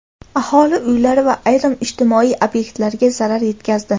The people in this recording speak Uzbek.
aholi uylari va ayrim ijtimoiy ob’ektlarga zarar yetkazdi.